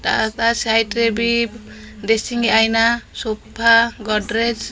ତା ତା ସାଇଡ ରେ ବି ଡେସିଂ ଆଇନା ସୋଫା ଗଡରେଜ୍ ।